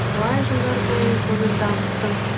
талай жылдар бойы оны дамыттым